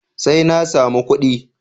Sai na samu kuɗi.